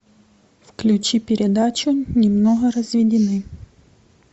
включи передачу немного разведены